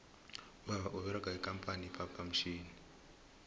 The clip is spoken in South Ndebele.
ubaba uberega ikampani ye phaphamtjhini